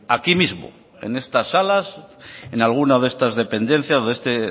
aquí mismo en estas salas en algunas de estas dependencias o de este